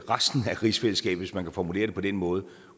resten af rigsfællesskabet hvis man kan formulere det på den måde